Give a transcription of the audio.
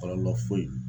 Kɔlɔlɔ foyi